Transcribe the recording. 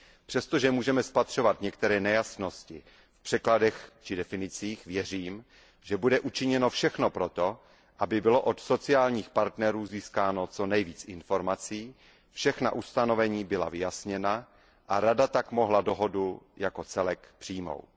Přestože můžeme spatřovat některé nejasnosti v překladech či definicích, věřím, že bude učiněno všechno proto, aby bylo od sociálních partnerů získáno co nejvíc informací, všechna ustanovení byla vyjasněna a Rada tak mohla dohodu jako celek přijmout.